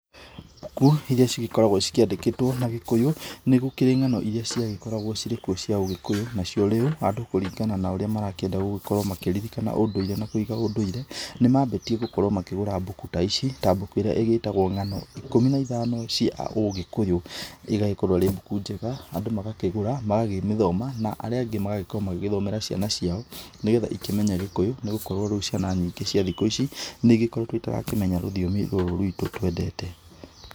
Mbuku irĩa cigĩkoragwo cikĩandĩkĩtwo na gĩkũyũ, nĩgũkĩrĩ ng'ano irĩa ciagĩkoragwo cirĩ kuo cia ũgĩkũyũ. Nacio rĩu andũ kũringana na ũrĩa marakĩenda gũkorwo makĩririkana ũndũire na kũiga ũndũire, nĩmambĩtie gũkorwo makĩgũra mbuku ta ici, ta mbuku ĩrĩa ĩgĩtagwo ng'ano ikũmi na ithano cia ũgĩkũyũ, ĩgagĩkorwo ĩrĩ mbuu njega na andũ magakĩgũra, makakĩmĩthoma, na arĩa angĩ magagĩkorwo magĩthomera ciana ciao, nĩgetha ikĩmenye gĩkũyũ, nĩgũkorwo ciana nyingĩ cia thikũ ici nĩigĩkoretwo itarakĩmenya rũthiomi rũrũ rwitũ twendete.